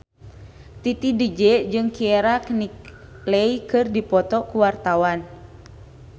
Titi DJ jeung Keira Knightley keur dipoto ku wartawan